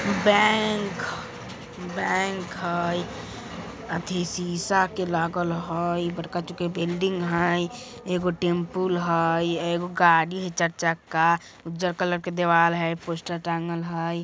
Bank bank हय अथी शीशा के लागल हय बड़का चुके बिल्डिंग हय एगो टेम्पुल हय एगो गाड़ी हय चार चक्का उज्जर कलर के देवाल हय पोस्टर टाँगल हय।